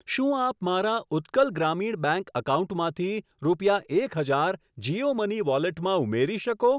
શું આપ મારા ઉત્કલ ગ્રામીણ બેંક એકાઉન્ટમાંથી રૂપિયા એક હજાર જીઓ મની વોલેટમાં ઉમેરી શકો?